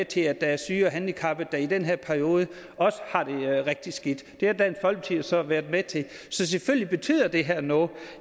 til at der er syge og handicappede der i den her periode også har det rigtig skidt det har dansk folkeparti jo så været med til så selvfølgelig betyder det her noget